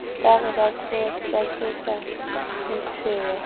ba re ba tlosa letshweya